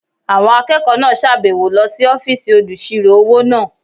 Àwọn akẹ́kọ̀ọ́ náà sàbẹ̀wo lọ sí ọ́fìsì olùsirò-owó náà